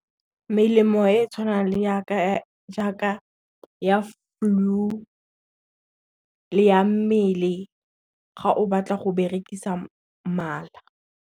Melemo e e tshwanang le jaaka ya flu le ya mmele ga o batla go berekisa mala.